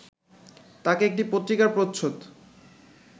তাঁকে একটি পত্রিকার প্রচ্ছদ